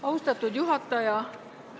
Austatud juhataja!